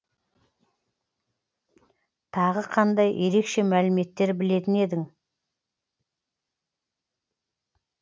тағы қандай ерекше мәліметтер білетін едің